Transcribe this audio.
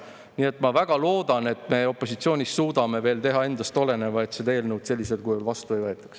Nii et ma väga loodan, et me opositsioonist suudame veel teha endast oleneva, et seda eelnõu sellisel kujul vastu ei võetaks.